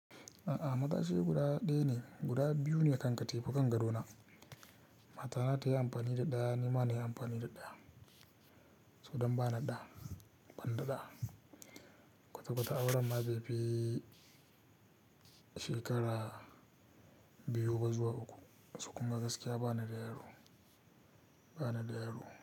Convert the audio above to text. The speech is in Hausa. A'a, matashi guda ɗaya ne, guda biyu ne kankatefukan kan gadona. Matana ta yi amfani da ɗaya nima na yi amfani da ɗaya, saboda ban da ɗa banda ɗa. Kwata kwata auren ma bai fi shekara biyu ba zuwa uku, su kuma gaskiya ba na da yaro, ba na da yaro.